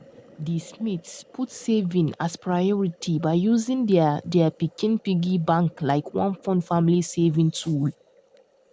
di smiths put saving as priority by using their their pikin piggy bank like one fun family saving tool